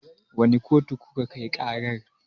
Wane kotu kuka kai ƙarar?